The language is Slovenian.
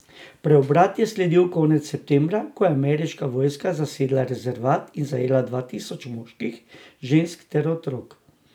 Preobrat je sledil konec septembra, ko je ameriška vojska zasedla rezervat in zajela dva tisoč moških, žensk ter otrok.